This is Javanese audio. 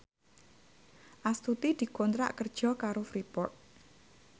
Astuti dikontrak kerja karo Freeport